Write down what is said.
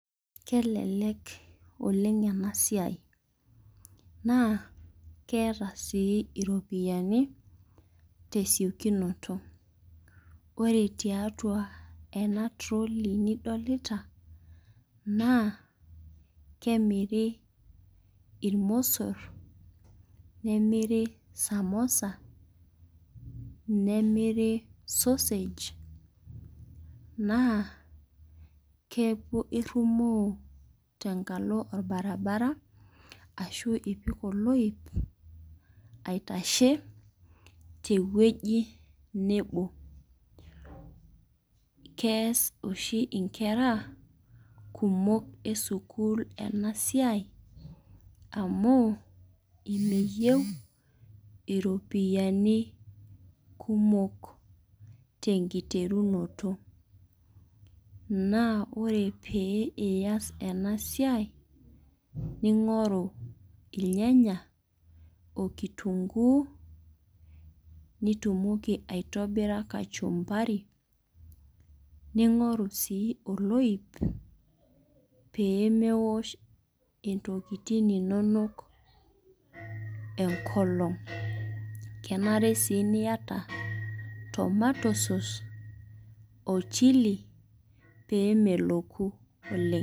Kelelek oleng enasiai naa keeta sii iropiyiani tesiokinoto . Ore tiatua enatrolley nidolita naa kemiri irmosor , nemir samosa , nemir sausage naa keku irumoo tenkalo orbaribara ashu ipik oloip aitashe tewueji nebo. Kees oshi inkera kumok esukul enasiai amu meyieu iropiyiani kumok tenkiterunoto naa ore pee iyas enasiai ningoru irnyanya okitunguu nitumoki aitobira kachumari ningoru sii oloip pemeosh ntokitin inonok enkolong. Kenare sii niata tomato sause ochili pemeloku oleng.